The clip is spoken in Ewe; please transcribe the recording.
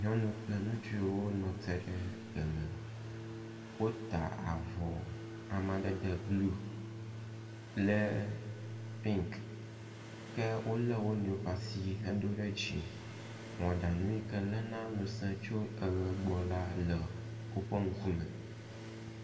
Nyɔnu kple ŋutsuwo nɔ te eme. Wota avɔ amadede blɔ kple pink ke wolé wo nɔewo ƒe asi hedo ɖe dzi. Mɔɖaŋu yi ke léna ŋusẽ tso eʋe gbɔ la le woƒe ŋkume